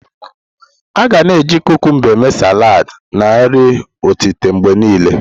A ga na eji kukumba eme saladi na nri otita mgbe niile.